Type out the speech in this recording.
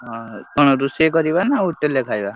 ହଁ ହୀନ କଣ ରୋଷେଇ କରିବା ନା hotel ରେ ଖାଇବା?